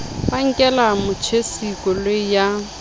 ba nkela motjhesi koloi ya